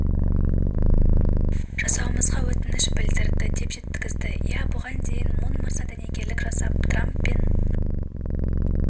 жасауымызға өтініш білдірді деп жеткізді иә бұған дейін де мун мырза дәнекерлік жасап трамп пен